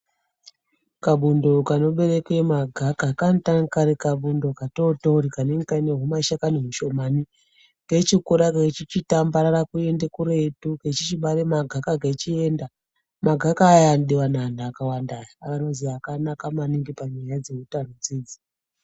Kabundo kanobereke magaka kanotanga kari kabundo katotori kanenge kane kane humashakani hushomani keichikura keichichitambarara kuende kuretu keichibara magaka kechienda magaka aya anodiwa neanhu akawanda anozi akanaka maningi panyaya dzeutano dzinedzi.